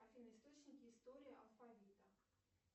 афина источники истории алфавита